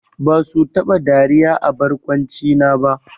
Basu taba dariya a barkwancina ba!